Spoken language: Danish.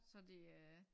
Se de øh